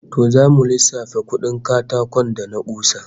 To zamu lissafa kudin katakon da na kusa